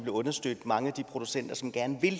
understøtte mange af de producenter som gerne vil